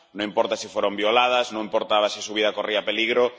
No importa si fueron violadas, no importa si su vida corría peligro.